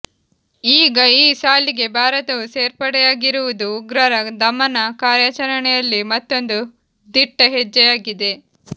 ಈಗ ಈ ಸಾಲಿಗೆ ಭಾರತವೂ ಸೇರ್ಪಡೆಯಾಗಿರುವುದು ಉಗ್ರರ ದಮನ ಕಾರ್ಯಾಚರಣೆಯಲ್ಲಿ ಮತ್ತೊಂದು ದಿಟ್ಟ ಹೆಜ್ಜೆಯಾಗಿದೆ